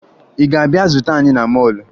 Ị ga-abịa zute anyị na mọọlụ